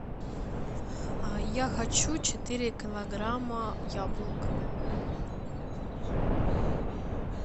я хочу четыре килограмма яблок